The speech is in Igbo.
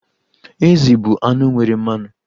Ezì bụ anụ nwere mmanụ.